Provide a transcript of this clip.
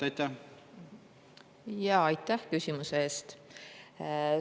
Aitäh küsimuse eest!